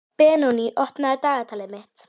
Benoný, opnaðu dagatalið mitt.